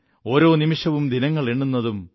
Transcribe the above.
ഓരോനിമിഷവും ദിനങ്ങളെണ്ണുന്നതും